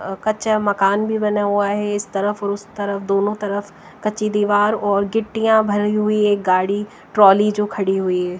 अ कच्चा मकान भी बना हुआ है इस तरफ और उस तरफ दोनों तरफ कच्ची दीवार और गिट्टियां भरी हुई एक गाड़ी ट्रॉली जो खड़ी हुई है।